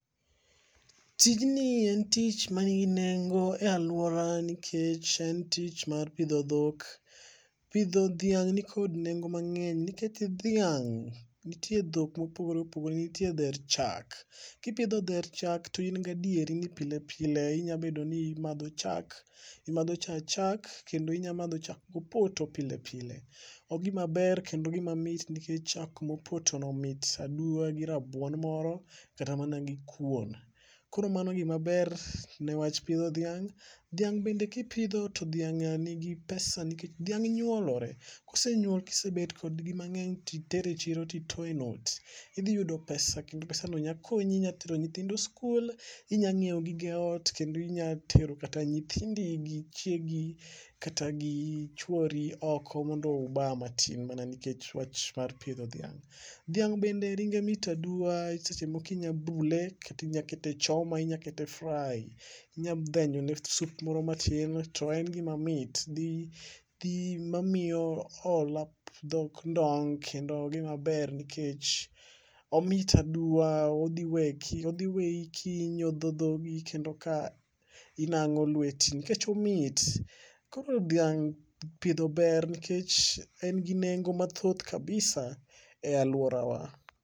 Tijni en tich manigi nengo e alwora nikech en tich mar pidho dhok. Pidho dhiang' nikid nengo mang'eny nikech dhiang',nitie dhok mopogore opogore ,nitie dher chak, kipidho dher chak to in gi adieri ni pile pile inya bedo ni imadho cha, imadho cha chak, kendo inya madho chak mopoto pile pile. Ogima ber kendo gima mit nikech chak mopotono mit aduwa gi rabuon moro, kata mana gi kuon. Koro mano gimaber ne wach pidho dhiang' .,dhiang' bende kipidho to dhiang' nigi pesa nikech dhiang' nyuolore. Kosenyuol, kisebet kodgi mang'eny, titere chiro titoe not, idhi yudo pesa kendo pesano nya konyi, inya tero nyithindo skul, inya nyiewo gige ot, kendo inya tero kata nyithindi gi chiegi kata gi chwori oko mondo uba matin mana nikech wach mar pidho dhiang'. Dhiang' bende ringe mit aduwa, seche moko inya bule, kata inya kete choma inya kete fry, inya dhenjone sup moro matin to en gimamit, dhi mamiyo hola dhok kendo gimaber nikech omit aduwa, odhi weyi kinyodho dhogi, kendo ka inang'o lweti nikech omit . Koro dhaing' pidho ber nikech en gi nengo mathoth kabisa e alworawa.